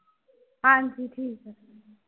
ਹਾਂਜੀ ਠੀਕ ਨੇ।